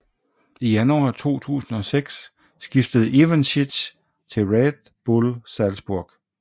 I januar 2006 skiftede Ivanschitz til Red Bull Salzburg